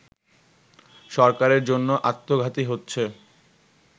সরকারের জন্য আত্মঘাতী হচ্ছে